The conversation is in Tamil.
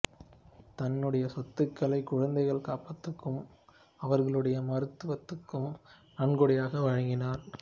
தன்னுடைய சொத்துக்களை குழந்தைகள் காப்பகத்துக்கும் அவர்களுடைய மருத்துவத்துக்கும் நன்கொடையாக வழங்கினார்